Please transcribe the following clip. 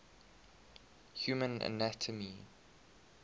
human anatomy